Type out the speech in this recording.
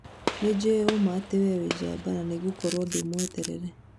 Nĩnjũĩ atĩ ũũma we nĩ njamba na nĩngũkorwo ndĩ mwetereire